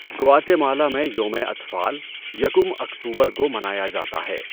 گواٹے مالا میں یومِ اطفال یکم اکتوبر کو منایا جاتا ہے۔